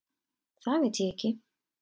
Það veit ég ekki.